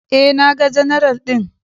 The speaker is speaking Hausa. E, naga general ɗin.